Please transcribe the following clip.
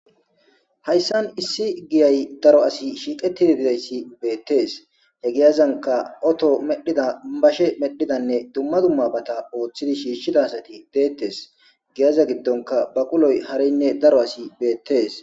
Hayssan issi giyay daro asi shiiqetidi dideyssi beettees he giyazanka oto medhida bashe medhidanne dumma dumma bata ooththidi shiishshida asati deettes giyaza giddonka baquloy harinne daro asi beettes